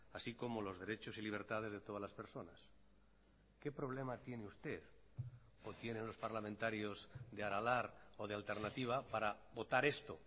así como los derechos y libertades de todas las personas qué problema tiene usted o tienen los parlamentarios de aralar o de alternatiba para votar esto